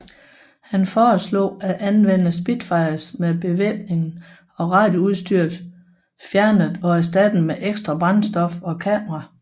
Han foreslog at anvende Spitfires med bevæbningen og radioudstyret fjernet og erstattet med ekstra brændstof og kameraer